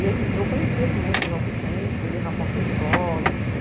E eu conheci esse moço já há algum tempo, ele ia na porta da escola.